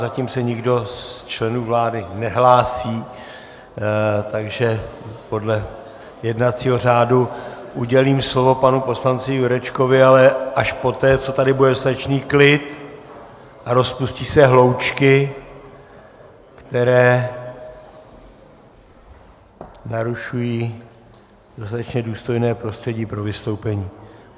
Zatím se nikdo z členů vlády nehlásí, takže podle jednacího řádu udělím slovo panu poslanci Jurečkovi, ale až poté, co tady bude dostatečný klid a rozpustí se hloučky, které narušují dostatečně důstojné prostředí pro vystoupení.